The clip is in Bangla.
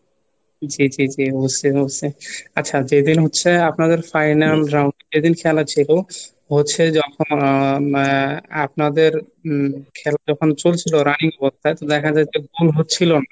জি জি জি বুঝছি বুঝছি আচ্ছা যেদিন হচ্ছে আপনাদের final round এদিন খেলা ছিল হচ্ছে যখন আহ উম আপনাদের উম খেলা যখন চলছিল running তো দেখা যাচ্ছে ভুল হচ্ছিল না